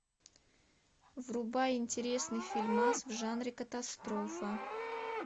врубай интересный фильмас в жанре катастрофа